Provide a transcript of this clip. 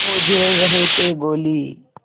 वो झेल रहे थे गोली